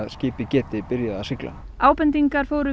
skipið geti byrjað að sigla ábendingar fóru